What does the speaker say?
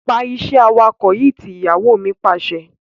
Pa iṣẹ́ awakọ̀ tí! Ìyàwó mi Pàṣẹ.